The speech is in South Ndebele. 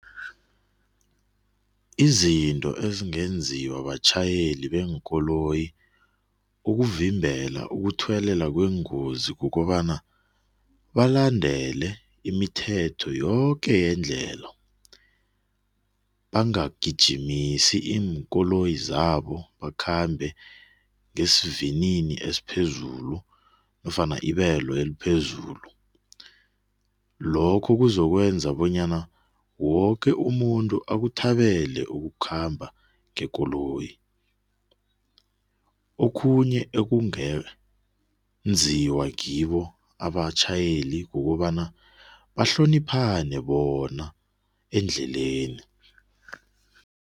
Izinto ezingenziwa batjhayeli beenkoloyi ukuvimbela ukuthuwelela kweengozi kukobana, balandele imithetho yoke yendlela, bangagijimisi iinkoloyi zabo bakhambe ngesivinini esiphezulu nofana ibelo eliphezulu. Lokhu kuzokwenza bonyana woke umuntu akuthabele ukukhamba ngekoloyi. Okhunye ekungenziwa ngibo abatjhayeli kukobana, bahloniphane bona endleleni.